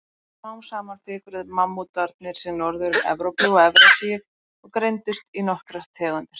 Smám saman fikruðu mammútarnir sig norður um Evrópu og Evrasíu og greindust í nokkrar tegundir.